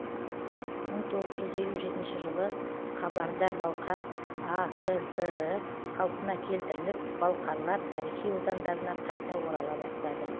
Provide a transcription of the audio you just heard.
мың тоғыз жүз елу жетінші жылы қабарда балқар акср і қалпына келтіріліп балқарлар тарихи отандарына қайта орала бастады